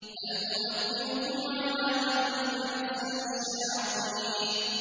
هَلْ أُنَبِّئُكُمْ عَلَىٰ مَن تَنَزَّلُ الشَّيَاطِينُ